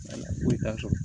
Foyi t'a sɔrɔ